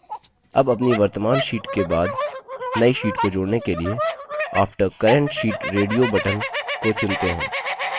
अब अपनी वर्त्तमान sheet के बाद now sheet को जोड़ने के लिए after current sheet radio button को चुनते हैं